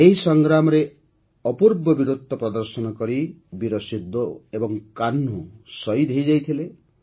ଏହି ସଂଗ୍ରାମରେ ଅପୂର୍ବ ବୀରତ୍ୱ ପ୍ରଦର୍ଶନ କରି ବୀର ସିନ୍ଧୋ ଏବଂ କାହ୍ନୁ ଶହୀଦ ହୋଇଯାଇଥିଲେ